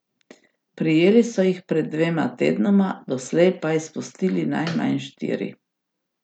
Prijeli so jih pred dvema tednoma, doslej pa izpustili najmanj štiri.